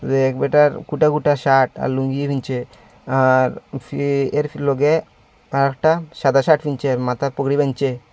এক ব্যাটার কোটা কোটা শার্ট আর লুঙ্গি নীচে আর ফে এর লগে আরেকটা সাদা শার্ট নিচে মাথায় পাগড়ি বানছে।